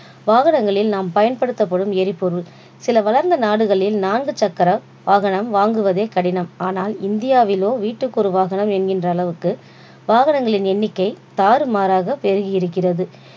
வாகனங்களில் நாம் பயன்படுத்தப்படும் எரிபொருள். சில வளர்ந்த நாடுகளில் நான்கு சக்கர வாகனம் வாங்குவதே கடினம் ஆனால் இந்தியாவிலோ வீட்டுக்கு ஒரு வாகனம் என்கின்ற அளவுக்கு வாகனங்களின் எண்ணிக்கை தாறுமாறாக பெருகியிருக்கிறது